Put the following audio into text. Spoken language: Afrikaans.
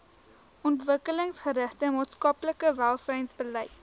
ontwikkelingsgerigte maatskaplike welsynsbeleid